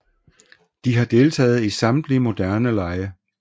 De har deltaget i samtlige moderne lege